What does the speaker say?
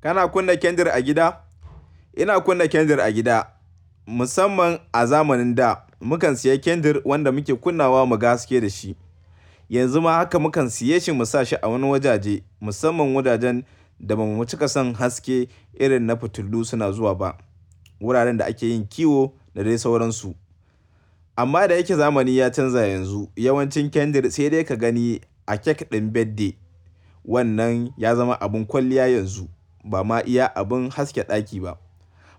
Kana kunna kandir a gida? Ina kunna kandir a gida. Musamman a zamanin da mukan siya kandir wanda muke kunna wa mu gan haske da shi. Yanzu ma haka mukan siya shi mu sa shi a wani wajaje musamman wajajen da ba mu cika son haske irin na fitilu suna zuwa ba. Wuraren da a ke yin kiwo da dai sauransu. Amma da yake zamani ya canza yanzu yawancin kandir sai dai ka gani a kek ɗin birthday. Wannan ya zama abin kwalliya yanzu ba ma iya abin haske ɗaki ba.